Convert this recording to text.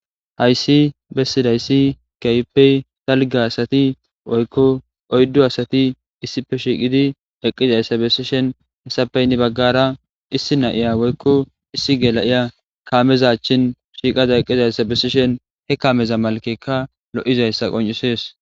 Hayssi bessidayssi kayppey talge asati oykko oyddo asati issife shiiqidi eqqizayssa besishen hesapeynni baggara issi nayiya woykko issi gela7iya kaameza chin shiiqada eqqizay sa besishen he kaameza malkekka lo7izayssa qoncisees